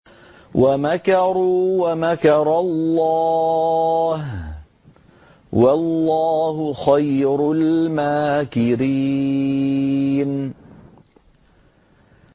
وَمَكَرُوا وَمَكَرَ اللَّهُ ۖ وَاللَّهُ خَيْرُ الْمَاكِرِينَ